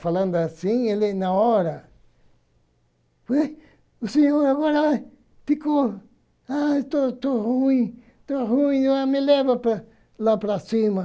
Falando assim, ele, na hora. Aí, o senhor agora ficou, ai, estou estou ruim, estou ruim, ai me leva lá lá para cima.